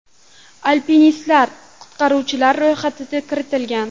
Alpinistlar qutqaruvchilar ro‘yxatiga kiritilgan.